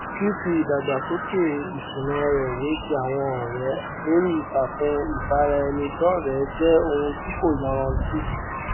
fífi ìdàgbàsókè ìṣúná rẹ wé ti àwọn ọrẹ lórí ìtàkùn ìbaràẹnidọrẹẹ jẹ ohun tí kò yanrantí